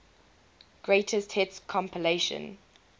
greatest hits compilation